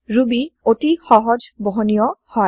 Ruby অতি সহজ বহনীয় হয়